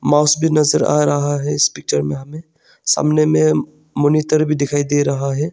Mouse भी नजर आ रहा है इस पिक्चर में हमें सामने में मॉनिटर भी दिखाई दे रहा है।